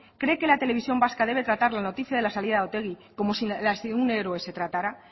cree que la televisión vasca debe tratar la noticia de la salida de otegi como si la de un héroe se tratara